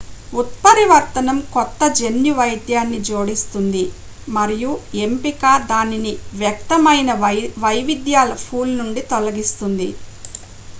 ఉత్పరివర్తనం కొత్త జన్యు వైవిధ్యాన్ని జోడిస్తుంది మరియు ఎంపిక దానిని వ్యక్తమైన వైవిధ్యాల పూల్ నుండి తొలగిస్తుంది